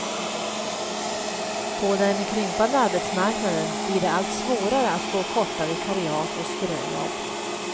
På den krympande arbetsmarknaden blir det allt svårare att få korta vikariat och ströjobb.